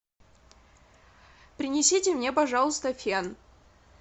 принесите мне пожалуйста фен